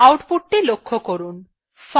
outputthe লক্ষ্য করুন